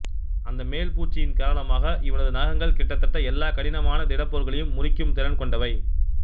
அந்த மேல் பூச்சின் காரணமாக இவனது நகங்கள் கிட்டத்தட்ட எல்லாக் கடினமான திடப்போர்களையும் முறிக்கும் திறன் கொண்டவை